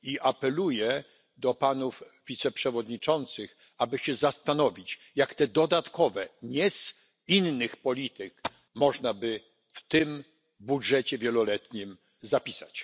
Apeluję do panów wiceprzewodniczących, aby się zastanowić, jak te dodatkowe środki, nie z innych polityk, można by w tym budżecie wieloletnim zapisać.